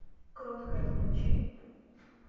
кроткая включи